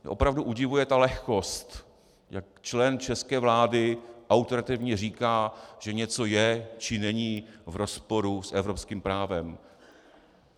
Opravdu udivuje ta lehkost, jak člen české vlády autoritativně říká, že něco je či není v rozporu s evropským právem.